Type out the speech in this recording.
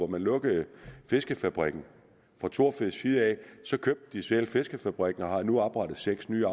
man lukkede fiskefabrikken fra thorfisks side så købte de selv fiskefabrikken og har nu oprettet seks nye